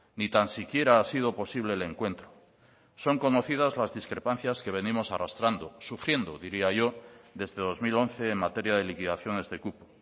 ni tan siquiera ha sido posible el encuentro son conocidas las discrepancias que venimos arrastrando sufriendo diría yo desde dos mil once en materia de liquidaciones de cupo